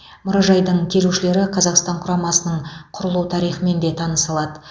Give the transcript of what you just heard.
мұражайдың келушілері қазақстан құрамасының құрылу тарихымен де таныса алады